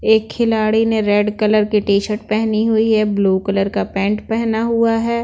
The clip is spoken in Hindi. एक खिलाड़ी ने रेड कलर की टी-शर्ट पहनी हुई है ब्लू कलर का पैंट पहना हुआ है।